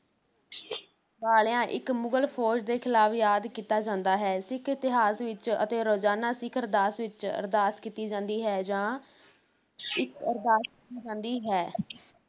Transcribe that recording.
ਵਾਲਿਆਂ ਇੱਕ ਮੁਗ਼ਲ ਫ਼ੌਜ ਦੇ ਖਿਲਾਫ ਯਾਦ ਕੀਤਾ ਜਾਂਦਾ ਹੈ, ਸਿੱਖ ਇਤਿਹਾਸ ਵਿੱਚ ਅਤੇ ਰੋਜ਼ਾਨਾ ਸਿੱਖ ਅਰਦਾਸ ਵਿੱਚ ਅਰਦਾਸ ਕੀਤੀ ਜਾਂਦੀ ਹੈ ਜਾਂ ਇੱਕ ਅਰਦਾਸ ਕੀਤੀ ਜਾਂਦੀ ਹੈ